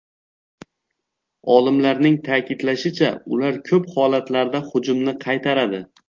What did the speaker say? Olimlarning ta’kidlashicha, ular ko‘p holatlarda hujumni qaytaradi.